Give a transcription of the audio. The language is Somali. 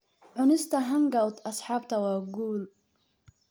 Cunista hangout asxaabta waa guul.